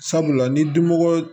Sabula ni dimɔgɔ